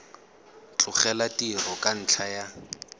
tlogela tiro ka ntlha ya